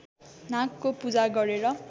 नागको पूजा गरेर